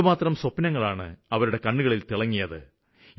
എന്തുമാത്രം സ്വപ്നങ്ങളാണ് അവരുടെ കണ്ണുകളില് തിളങ്ങിയത്